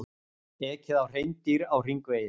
Ekið á hreindýr á hringvegi